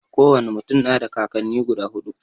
Ko wane mutum na da kakanni guda huɗu.